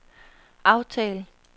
aftal